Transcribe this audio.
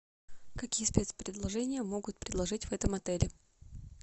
какие спецпредложения могут предложить в этом отеле